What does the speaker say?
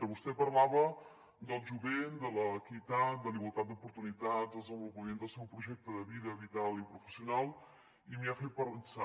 vostè parlava del jovent de l’equitat de la igualtat d’oportunitats del desenvo·lupament del seu projecte de vida vital i professional i m’ha fet pensar